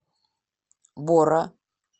бора